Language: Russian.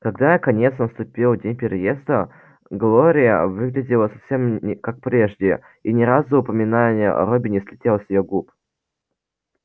когда наконец наступил день переезда глория выглядела совсем как прежде и ни разу упоминание о робби не слетело с её губ